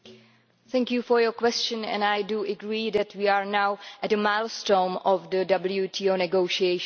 Thank you for your question, and I agree that we are now at a milestone in the WTO negotiations.